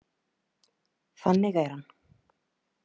Þannig er hann.